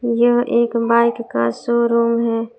यह एक बाइक का शोरूम है।